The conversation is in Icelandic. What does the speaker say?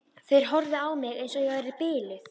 Þeir horfðu á mig eins og ég væri biluð.